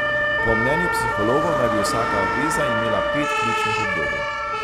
Po mnenju psihologov naj bi vsaka veza imela pet ključnih obdobij.